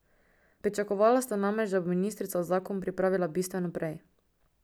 Pričakovala sta namreč, da bo ministrica zakon pripravila bistveno prej.